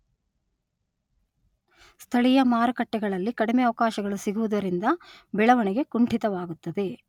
ಸ್ಥಳೀಯ ಮಾರುಕಟ್ಟೆಗಳಲ್ಲಿ ಕಡಿಮೆ ಅವಕಾಶಗಳು ಸಿಗುವುದರಿಂದ ಬೆಳವಣಿಗೆ ಕುಂಠಿತವಾಗುತ್ತದೆ.